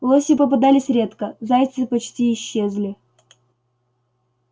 лоси попадались редко зайцы почти исчезли